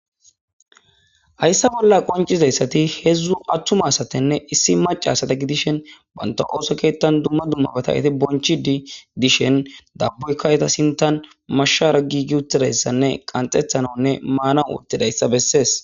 Haysa bolla qoncizati hdzu atuma asati issi maca asata gidishin banta oso ketan dumma dumma etibonchidi dishin daboyka iza sintan mashara gigi utidasanne kaxetanaysanne manaysa beses